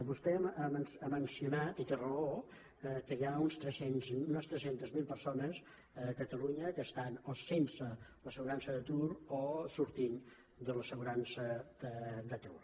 vostè ha mencionat i té raó que hi ha unes tres cents miler persones a catalunya que estan o sense l’assegurança d’atur o sortint de l’assegurança d’atur